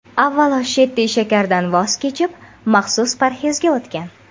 Avvalo, Shetti shakardan voz kechib, maxsus parhezga o‘tgan.